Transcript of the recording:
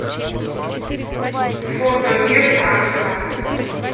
фото мир танца